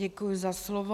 Děkuji za slovo.